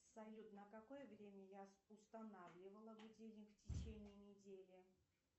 салют на какое время я устанавливала будильник в течении недели